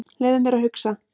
Leyfðu mér að hugsa.